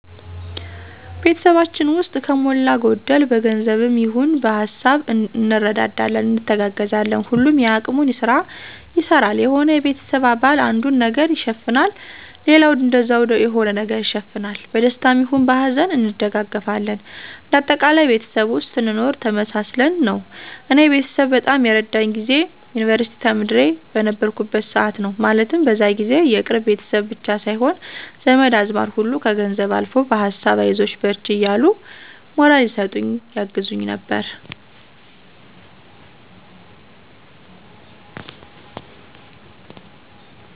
ቤተሰባችን ውስጥ ከሞላ ጎደል በገንዘብም ይሆን በሀሳብ እንረዳዳለን፣ እንተጋገዛለን። ሁሉም የአቅሙን ስራ ይሰራል። የሆነ የቤተሰብ አባል አንዱን ነገር ይሸፍናል ሌላውም እንደዛው የሆነ ነገር ይሸፍናል። በደስታም ይሁን በሀዘን እንደጋገፋለን እንደ አጠቃላይ ቤተሰብ ውስጥ ስንኖር ተመሳስለን ነው። እኔ ቤተሰብ በጣም የረዳኝ ጊዜ የዩንቨርስቲ ተማሪ በነበርኩበት ሰዓት ነው። ማለትም በዛ ጊዜ የቅርብ ቤተሰብ ብቻ ሳይሆን ዘመድ አዝማድ ሁሉ ከገንዘብም አልፎ በሀሳብ አይዞሽ በርቺ እያሉ ሞራል ይሰጡኝ ያግዙኝ ነበር።